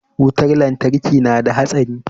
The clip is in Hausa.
wutar lantarki nada hatsari